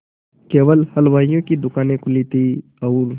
केवल हलवाइयों की दूकानें खुली थी और